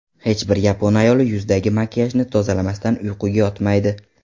Hech bir yapon ayoli yuzidagi makiyajni tozalamasdan uyquga yotmaydi.